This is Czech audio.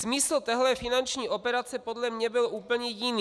Smysl téhle finanční operace podle mne byl úplně jiný.